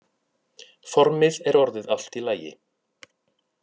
Formið er orðið allt í lagi.